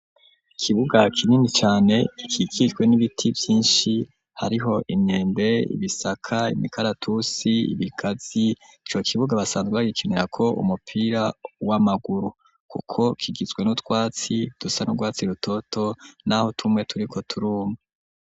Ikibuga kinini cane gikikijwe n'ibiti vyishi hariho imyembe, ibisaka, imikaratusi, ibigazi ico kibuga basanzwe bagikenirako umupira w'amaguru kuko kigizwe n'utwatsi dusa nu rwatsi rutoto naho tumwe turiko turuma.